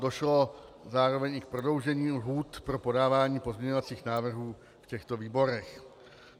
Došlo zároveň i k prodloužení lhůt pro podávání pozměňovacích návrhů v těchto výborech.